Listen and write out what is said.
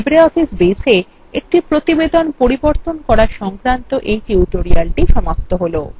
এখানেই libreoffice baseএ একটি প্রতিবেদন পরিবর্তন করা সংক্রান্ত এই tutorial সমাপ্ত হল